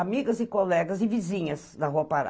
Amigas e colegas e vizinhas da rua Pará.